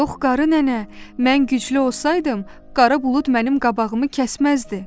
Yox qarı nənə, mən güclü olsaydım, qara bulud mənim qabağımı kəsməzdi.